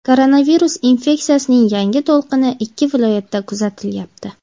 koronavirus infeksiyasining yangi to‘lqini ikki viloyatda kuzatilyapti.